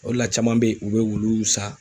O de la caman be yen , u be wulu san.